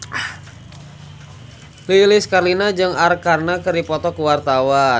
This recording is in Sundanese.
Lilis Karlina jeung Arkarna keur dipoto ku wartawan